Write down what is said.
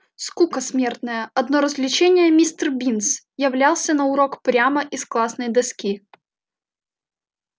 скука смертная одно развлечение мистер бинс являлся на урок прямо из классной доски